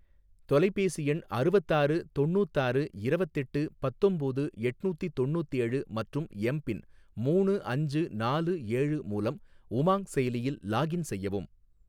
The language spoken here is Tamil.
தொலைபேசி எண் அறுவத்தாறு தொண்ணூத்தாறு இரவத்தெட்டு பத்தொம்போது எட்நூத்தி தொண்ணூத்தேழு மற்றும் எம் பின் மூணு அஞ்சு நாலு ஏழு மூலம் உமாங் செயலியில் லாக்இன் செய்யவும்